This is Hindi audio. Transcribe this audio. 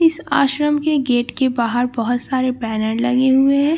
इस आश्रम के गेट के बाहर बहुत सारे बैनर लगे हुए हैं।